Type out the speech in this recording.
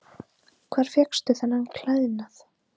Hvar fékkstu þennan klæðnað?